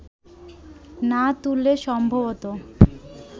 না তুললে সম্ভবত